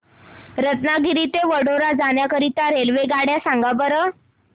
रत्नागिरी ते वडोदरा जाण्या करीता रेल्वेगाड्या सांगा बरं